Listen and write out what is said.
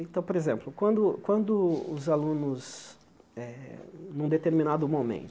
Então, por exemplo, quando quando os alunos eh, em um determinado